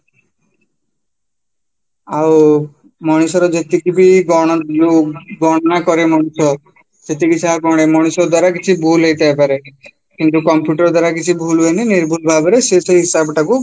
ଆଉ ମଣିଷର ଯେତିକିବି ଯୋଉ ଗଣନା କରେ ମଣିଷ ସେତିକି ଗଣେ ମଣିଷ ଦ୍ଵାରା କିଛି ଭୁଲ ହେଇଥାଇପାରେ କିନ୍ତୁ computer ଦ୍ଵାରା କିଛି ଭୁଲ ହୁଏନି ନିର୍ଭୁଲ ଭାବରେ ସିଏ ସେହି ହିସାବକୁ